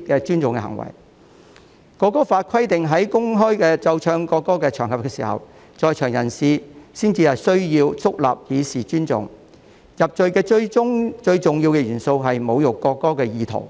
《條例草案》規定在公開奏唱國歌的場合，在場人士才需要肅立以示尊重，入罪最重要的元素是侮辱國歌的意圖，